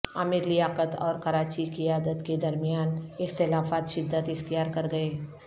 عامر لیاقت اور کراچی قیادت کے درمیان اختلافات شدت اختیار کرگئے